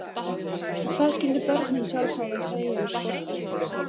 En hvað skyldu börnin sjálf hafa að segja um sportið?